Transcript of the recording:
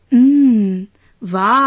Umm, wow